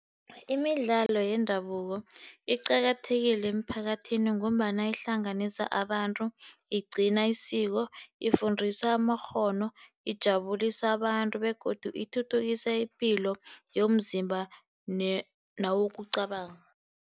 Imidlalo yendabuko iqakathekile emiphakathini ngombana ihlanganisa abantu, igcina isiko, ifundisa amakghono ijabulisa abantu, begodu ithuthukisa ipilo yomzimba newokucabanga.